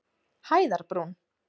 Hæðarbrún